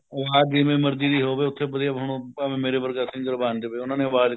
ਉਹ ਹਾਂ ਜਿਵੇਂ ਮਰਜੀ ਲਈ ਹੋਵੇ ਉੱਥੇ ਵਧੀਆ ਭਾਵੇਂ ਮੇਰਾ ਵਰਗਾ singer ਬਣ ਜਾਵੇ ਉਹਨਾ ਨੇ ਆਵਾਜ਼